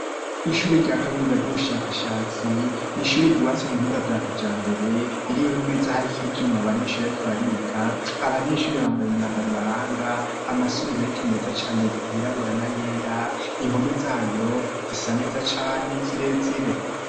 Ishure rya kaminiza ry'ubushakashatsi, n'ishure ryubatswe mu buhinga bwa kijambere ririmwo imeza hariko ivyuma abanyeshure bariko bariga, abanyeshure bambaye imyambaro ibaranga amasarubeti meza cane yirabura n'ayera, impome zayo zisa neza cane ni zirezire.